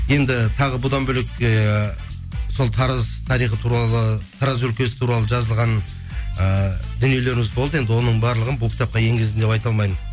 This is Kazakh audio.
енді тағы бұдан бөлек ііі сол тараз тарихы туралы тараз өлкесі туралы жазылған ііі дүниелеріміз болды енді оның барлығын бұл кітапқа енгіздім деп айта алмаймын